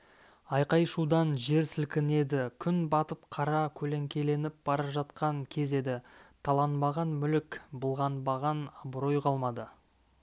айқай-шудан жер сілкінеді күн батып қара көлеңкеленіп бара жатқан кез еді таланбаған мүлік былғанбаған абырой қалмады